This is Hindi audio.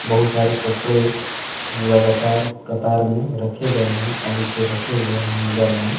बहुत सारे कपड़े लगातार कतार में रखे गए हैं टांग के रखे हुए हैंगर में।